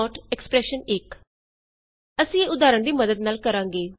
logical not ਜਿਵੇਂ ਕਿਐਕਸਪ੍ਰੇਸ਼ਨ1 ਈਜੀ ਅਸੀਂ ਇਹ ਉਦਾਹਰਣ ਦੀ ਮੱਦਦ ਨਾਲ ਕਰਾਂਗੇ